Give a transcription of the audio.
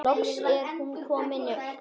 Loks er hún komin upp.